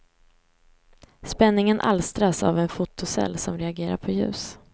Spänningen alstras av en fotocell som reagerar på ljus.